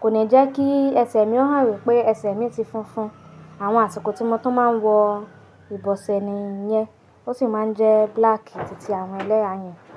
kò ní jẹ́ kí ẹsẹ̀ mi ó hàn wípé ẹsẹ̀ mi ti funfun. Àwọn àsìkò tí mo tún máa ń wọ ìbọ̀sẹ̀ nìyẹn. Ó sì máa ń jẹ́ black títí àwọn ẹlẹ́yà yẹn.